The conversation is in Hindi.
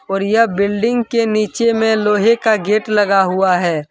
और यह बिल्डिंग के नीचे में लोहे का गेट लगा हुआ है।